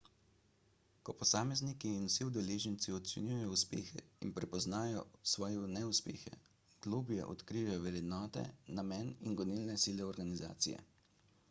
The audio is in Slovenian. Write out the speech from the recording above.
ko posamezniki in vsi udeleženci ocenjujejo uspehe in prepoznajo svoje neuspehe globlje odkrijejo vrednote namen in gonilne sile organizacije